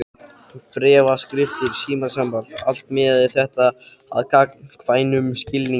Bréfaskriftir, símasamband, allt miðaði þetta að gagnkvæmum skilningi.